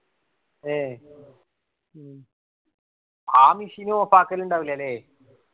ഏ ആ machine off ആക്കലിണ്ടാവുല്ല ല്ലേ.